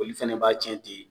Foli fana b'a tiɲɛ ten